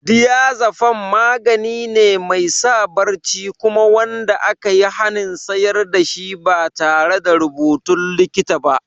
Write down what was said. Diazepam magani ne mai sa barci kuma wanda aka yi hanin sayar da shi ba tare da rubutun likita ba.